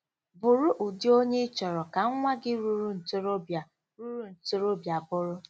Bụrụ ụdị onye ị chọrọ ka nwa gị ruru ntorobịa ruru ntorobịa bụrụ.